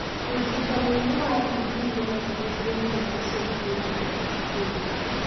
Kũrigita mũrimũ wa TB nokũhũthĩre ndawa cia kũraga mbakteria